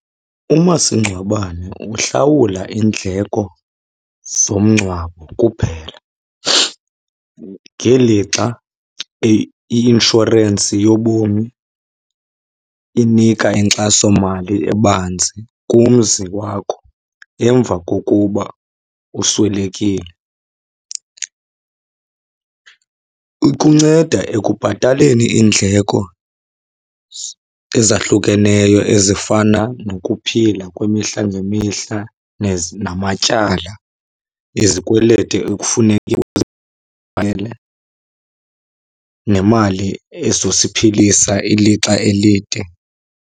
Umasingcwabane uhlawula iindleko zomngcwabo kuphela, ngelixa i-inshorensi yobomi inika inkxasomali ebanzi kumzi wakho emva kokuba uswelekile. Ikunceda ekubhataleni iindleko ezahlukeneyo ezifana nokuphila kwimihla ngemihla namatyala, izikweleti ekufuneka , nemali ezosiphilisa ilixa elide.